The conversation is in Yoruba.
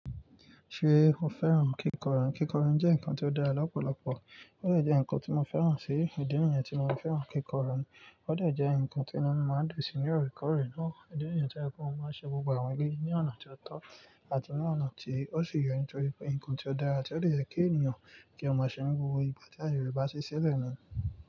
Ṣe mo fẹ́ràn kíkọ́rùn? Kíkọ́rùn jẹ́ nǹkan tó dára lọ́pọ̀lọpọ̀, ó lè jẹ́ nǹkan tí mo fẹ́ràn sí, ìdí ni yẹn tí mo fẹ́ràn kíkọ́rùn ni ó lè jẹ́ nǹkan tí ẹni mọ̀ọ́ máa ń lò sí ní ọ̀rọ̀ ìkọ̀rè náà, ìdí ni yẹn tí ẹni mọ̀ọ́ máa ń ṣe gbogbo àwọn eleyi ní ọ̀nà tí ó tọ́ àti ní ọ̀nà tí ó sì yẹ nítorí pé nǹkan tí ó dára ti ó dẹ̀ yẹ́ kí ènìyàn kí o ma ṣe ni gbogbo ìgbà tí aye rẹ̀ bàsí sílẹ̀ ni.